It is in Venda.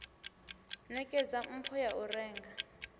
nekedza mpho ya u renga